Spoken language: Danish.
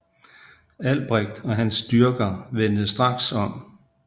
Albrecht og hans styrker vendte straks om